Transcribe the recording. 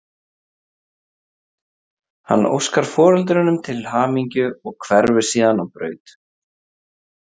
Hann óskar foreldrunum til hamingju og hverfur síðan á braut.